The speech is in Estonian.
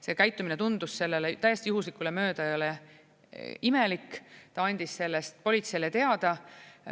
See käitumine tundus sellele täiesti juhuslikult möödujale imelik, ta andis sellest politseile teada.